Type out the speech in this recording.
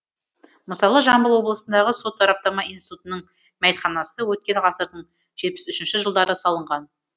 мысалы жамбыл облысындағы сот сараптама институтының мәйітханасы өткен ғасырдың жетпіс үшінші жылдары салынған